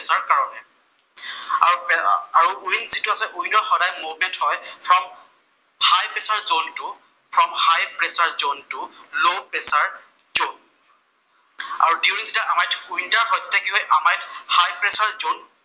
আৰু উইণ্ড যিটো আছে, উইণ্ডত সদায় মুভমেণ্ট হয়, from high pressure zone to low pressure zone. আৰু during the how much winter first তে হয় হাই প্ৰেচাৰ জʼন